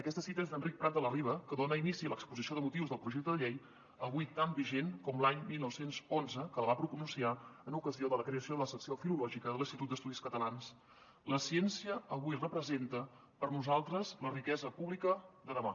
aquesta cita és d’enric prat de la riba que dona inici a l’exposició de motius del projecte de llei avui tan vigent com a l’any dinou deu u que la va pronunciar en ocasió de la creació de la secció filològica de l’institut d’estudis catalans la ciència avui representa per a nosaltres la riquesa pública de demà